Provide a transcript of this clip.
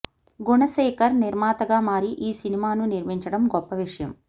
గుణశేఖర్ నిర్మాతగా మారి ఈ సినిమాను నిర్మించడం గొప్ప విషయం